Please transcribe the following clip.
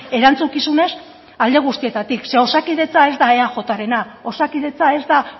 erantzukizunez alde guztietatik zeren osakidetza ez da eajrena osakidetza ez da